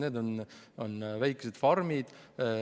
Need on väikesed farmid.